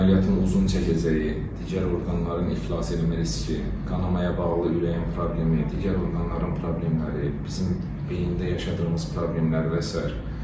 Əməliyyatın uzun çəkəcəyi, digər orqanların iflas eləmə riski, qanamaya bağlı ürəyin problemi, digər orqanların problemləri, beynində yaşadığımız problemlər və sair.